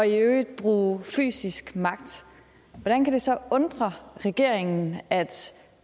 og i øvrigt bruge fysisk magt hvordan kan det så undre regeringen at